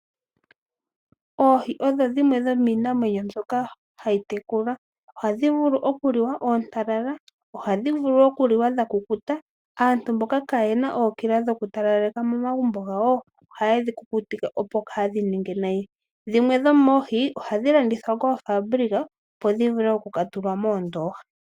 Oohi odho dhimwe dhominamwenyo mbyoka hayi tekulwa ohadhi vulu okuliwa oontalala, ohadhi vulu okuliwa dhakukuta. Aantu mboka kayena ookila dhoku talaleka momagumbo gawo ohayedhi kukutike opo kadhininge nayi. dhimwe dhomoohi ohadhi landithwa koofabulika opo dhi vule okuka tulwa moondoha.